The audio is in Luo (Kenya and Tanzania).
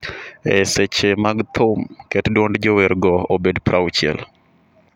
E seche mag thum, ket dwond jowergo obed 60